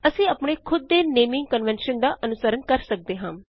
ਅਸੀਂ ਅਪਣੇ ਖੁਦ ਦੇ ਨੇਮਿੰਗ ਕਨਵੇਨਸ਼ਨ ਦਾ ਅਨੁਸਰਨ ਕਰ ਸਕਦੇ ਹਾਂ